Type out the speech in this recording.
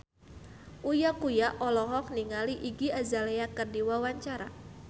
Uya Kuya olohok ningali Iggy Azalea keur diwawancara